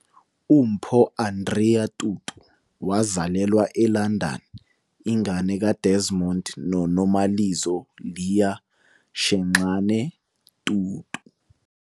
UMpho Andrea Tutu wazalelwa eLondon, ingane kaDesmond noNomalizo Leah Shenxane Tutu.